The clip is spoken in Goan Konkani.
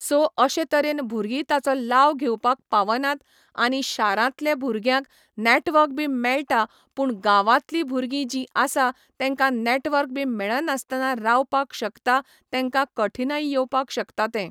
सो अशे तरेन भुरगीं ताचो लाव घेंवपाक पावनात आनी शारांतले भुरग्यांक नॅटवर्क बी मेळटा पूण गांवांतली भुरगीं जीं आसा तेंकां नॅटवर्क बी मेळनासतना रावपाक शकता तेंकां कठिनायी येवपाक शकता तें